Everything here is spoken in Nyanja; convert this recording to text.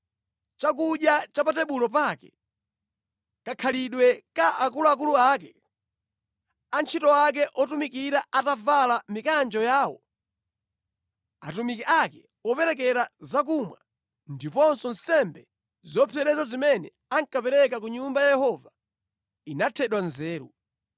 chakudya cha pa tebulo pake, moyo wa antchito ake ndi zovala zawo, atumiki opereka zakumwa, ndiponso nsembe zopsereza zimene ankapereka ku Nyumba ya Yehova, inathedwa nzeru.